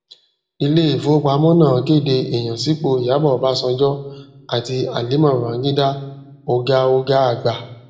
ilé ìfowópamọ náà kéde ìyànsípò ìyábò obasanjo àti halima babangida oga oga àgbà